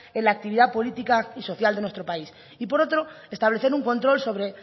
en la actividad política y social de nuestro país y por otro establecer un control sobre